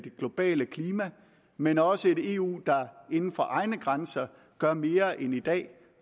globale klima men også et eu der inden for egne grænser gør mere end i dag